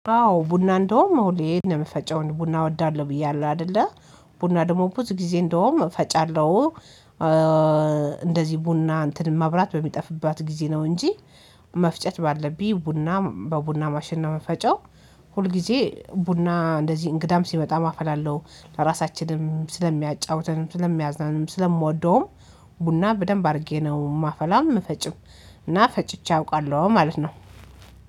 አዎ ቡና እንደውም ሁሌ እንደምፈጨው ቡና እወዳለሁ ብያለው አይደለ ቡና ደግሞ ብዙ ጊዜ እንደውም እፈጫለሁ። እንደዚህ ቡና እንትን ማብራት በሚጠፍባት ጊዜ ነው እንጂ። መፍጨት ባለብኝ ቡና በቡና ማሽን ነው ምፈጨው። ሁል ጊዜ ቡና እንደዚህ እንግዳም ሲመጣ አፈላለው ለራሳችንም ስለሚያጫውተንም ስለሚያዝናንም ስለምወደውም ቡና በደንብ አድርጌ ነው ማፈላም ምፈጭም። እና ፈጭቼ አውቃለሁ ማለት ነው።